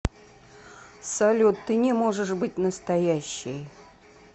салют ты не можешь быть настоящей